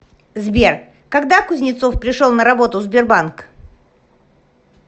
сбер когда кузнецов пришел на работу в сбербанк